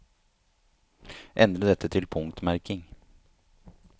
Endre dette til punktmerking